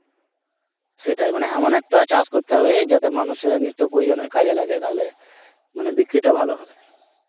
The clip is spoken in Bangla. সেটা, মানে এমন একটা চাষ করতে হবে যাতে মানুষের নিত্য প্রয়োজনের কাজে লাগে তালে মানে বিক্রি টা ভালো হবে